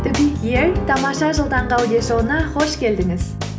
тамаша жыл таңғы аудиошоуына қош келдіңіз